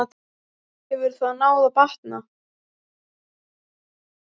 Hefur það náð bata?